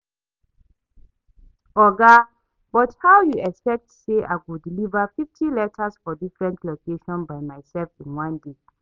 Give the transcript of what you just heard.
Oga, but how you expet say I go deliver fifty letters for different locations by myself in one day?